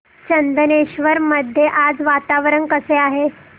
चंदनेश्वर मध्ये आज वातावरण कसे आहे